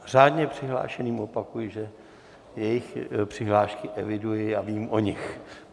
Řádně přihlášeným opakuji, že jejich přihlášky eviduji a vím o nich.